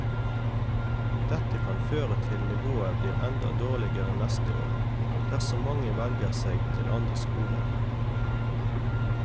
Dette kan føre til nivået blir enda dårligere neste år, dersom mange velger seg til andre skoler.